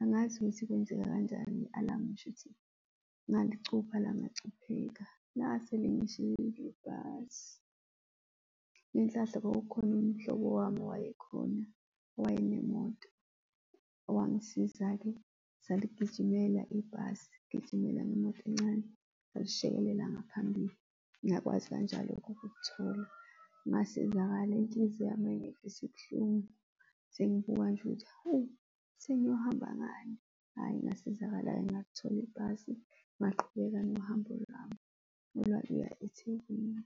Angazi ukuthi kwenzeka kanjani i-alarm shuthi ngalicupha langachupheka, lase lingishiyile ibhasi. Ngenhlanhla kwakukhona umhlobo wami owayekhona, owaye nemoto owangisiza-ke saligijimela ibhasi, gijimela ngemoto encane ngaphambili, ngakwazi kanjalo-ke ukulithola. Ngasizakala, inhliziyo yami yayingeve isibuhlungu sengibuka nje ukuthi hawu sengiyohamba ngani. Hhayi, ngasizakala ngathol'ibhasi ngaqhubeka nohambo lwami olwaluya eThekwini.